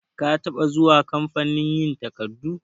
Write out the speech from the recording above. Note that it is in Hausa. Ka taba zuwa kamfanin yin takardu?